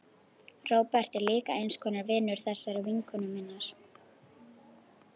Róbert er líka eins konar vinur þessarar vinkonu minnar.